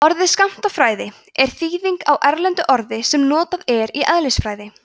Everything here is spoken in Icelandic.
orðið skammtafræði er þýðing á erlendu orði sem notað er í eðlisfræði